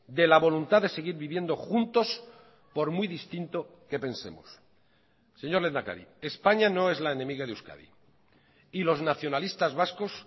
de la voluntad de seguir viviendo juntos por muy distinto que pensemos señor lehendakari españa no es la enemiga de euskadi y los nacionalistas vascos